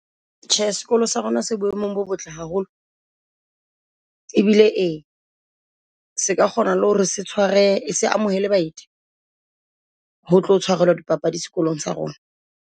Tjhe, sekolo sa rona se boemong bo botle haholo. E bile ee se ka kgona le hore se tshware se amohele baeti ho tlo tshwarelwa di papadi sekolong sa rona.